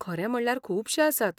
खरें म्हणल्यार खुबशे आसात.